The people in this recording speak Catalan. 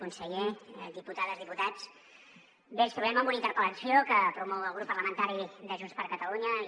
conseller diputades diputats ens trobem amb una interpel·lació que promou el grup parlamentari de junts per catalunya i